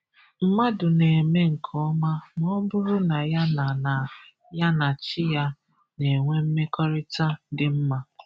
Mlmadụ na-eme nke ọma ma ọ bụrụ na ya na na ya na Chi ya na-enwe mmekọrịta dị mma.